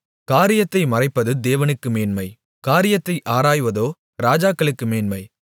காரியத்தை மறைப்பது தேவனுக்கு மேன்மை காரியத்தை ஆராய்வதோ ராஜாக்களுக்கு மேன்மை